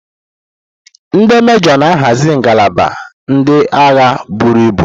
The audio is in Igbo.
Ndi mejoo na-ahazi ngalaba ndị agha buru ibu.